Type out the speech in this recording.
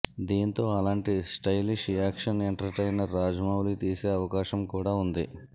దీనితో అలాంటి stylish action entertainer Rajamouli తీసే అవకాశం కూడా వుంది